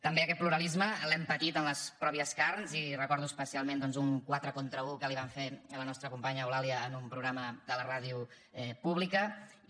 també aquest pluralisme l’hem patit en les pròpies carns i recordo especialment doncs un quatre contra u que li vam fer a la nostra companya eulàlia en un programa de la ràdio pública i